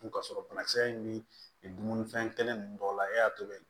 Dun ka sɔrɔ banakisɛ in bɛ dumunifɛn kelen ninnu dɔw la e y'a tobi